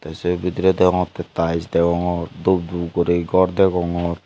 se bidire deongotte taes deongor dup dup guri gor degongor.